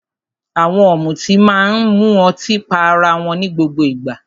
Àwọn ọ̀mùtí máa ń mu ọtí pá ará wọn ní gbogbo ìgbà.